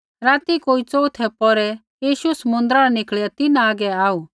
राती कोई च़ोऊथै पौहरै यीशु समुन्द्रा न निकल़िया तिन्हां हागै आऊ